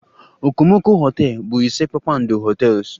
Okomoko hotels bụ ise kpakpando hotels